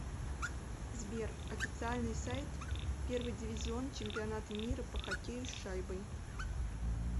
сбер официальный сайт первый дивизион чемпионата мира по хоккею с шайбой